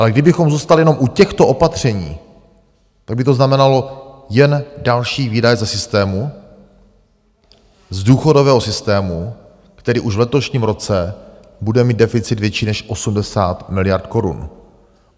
Ale kdybychom zůstali jenom u těchto opatření, tak by to znamenalo jen další výdaje ze systému, z důchodového systému, který už v letošním roce bude mít deficit větší než 80 miliard korun.